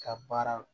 Ka baara